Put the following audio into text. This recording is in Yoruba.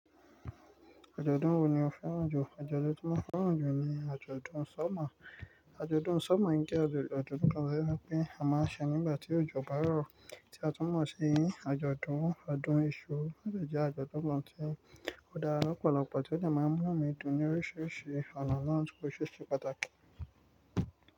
Wo ni o fẹ́ràn jù? Àjọ̀dún tí mo fẹ́ràn jù ni àjọ̀dún summer. Summer ń jẹ́ àjọ̀dún kan tó jẹ́ pé a máa ń ṣe nígbà tí òjò bá rọ̀ tí a tún mọ̀ sí àjọ̀dún ọdún iṣu Ó dẹ̀ jẹ́ àjọ̀dún kan tí ó dára lọ́pọ̀lọpọ̀ tí ó dẹ̀ máa ń múnú mi dùn ní oríṣiríṣi ọ̀nà ní ti bó ṣe ṣe pàtàkì.